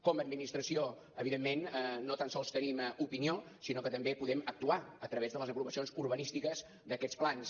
com a administració evidentment no tan sols tenim opinió sinó que també podem actuar a través de les aprovacions urbanístiques d’aquests plans